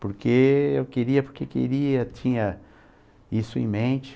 Porque eu queria, porque queria, tinha isso em mente.